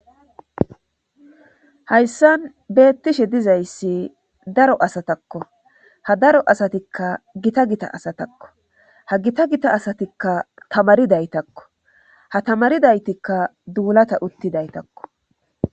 Hayssan beettishe dizayssi daro asatakko ha daro asatikka Gita Gita asatakko hagita Gita asatikka tamarifaytakko ta tamrifatika duulata uttidaytakko